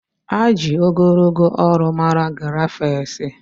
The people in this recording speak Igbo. a ji ogologo olu mara giraffes